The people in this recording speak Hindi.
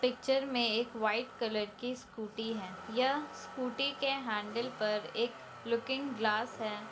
पिक्चर में एक वाईट कलर की स्कूटी है यह स्कूटी के हैंडल पर एक लुकिंग ग्लास है।